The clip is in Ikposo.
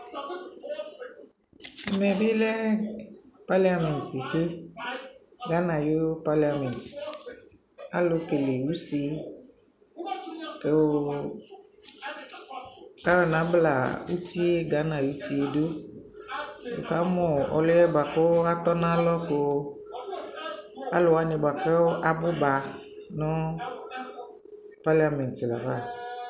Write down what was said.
Ɛmɛ bι lɛ paliamɛnt keGana ayι paliamɛnt, alʋ kele use, kʋʋ ayɔ nabla uti yɛ, Gana ayi uti yɛ dʋNι ka mʋ ɔlʋ yɛ Nι ka mʋ ɔlʋ yɛ bʋa kʋ atɔ nʋ alɔ ka alʋ wanι bʋa kʋ abʋba nʋ paliamɛnt laafa